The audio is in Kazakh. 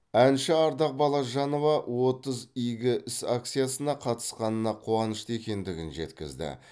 әнші ардақ балажанова отыз игі іс акциясына қатысқанына қуанышты екендігін жеткіізді